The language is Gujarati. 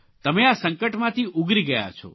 તમે આ સંકટમાંથી ઉગરી ગયા છો